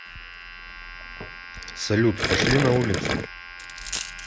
салют пошли на улицу